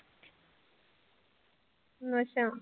ਅੱਛਾ।